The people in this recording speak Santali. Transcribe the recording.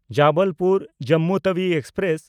ᱡᱚᱵᱚᱞᱯᱩᱨ–ᱡᱚᱢᱢᱩ ᱛᱟᱣᱤ ᱮᱠᱥᱯᱨᱮᱥ